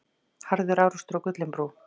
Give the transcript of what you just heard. Harður árekstur á Gullinbrú